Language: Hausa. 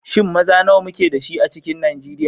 Shin maza nawa muke da shi a cikin Nijeriya?